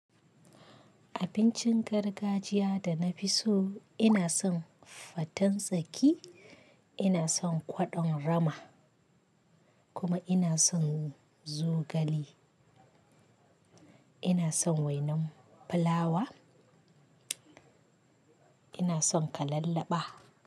Abincin gargajiya da na fi so ina son faten tsaki, ina son kwaɗon rama kuma ina son zogale. Ina son wainan fulawa, ina son kalallaba.